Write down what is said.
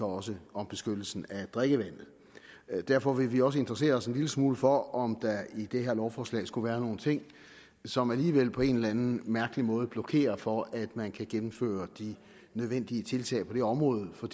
også om beskyttelsen af drikkevandet derfor vil vi også interessere os en lille smule for om der i det her lovforslag skulle være nogle ting som alligevel på en eller anden mærkelig måde blokerer for at man kan gennemføre de nødvendige tiltag på det område for